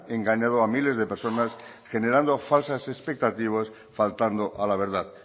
engañado a miles de personas generando falsas expectativas faltando a la verdad